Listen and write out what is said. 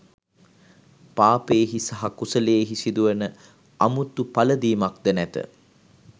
පාපයෙහි සහ කුසලයෙහි සිදුවන අමුතු පළඳිමක් ද නැත.